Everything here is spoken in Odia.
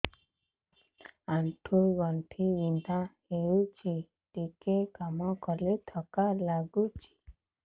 ଆଣ୍ଠୁ ଗଣ୍ଠି ବିନ୍ଧା ହେଉଛି ଟିକେ କାମ କଲେ ଥକ୍କା ଲାଗୁଚି